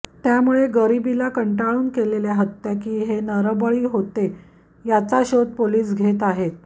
त्यामुळे गरिबीला कंटाळून केलेल्या हत्या की हे नरबळी होते याचा शोध पोलीस घेत आहेत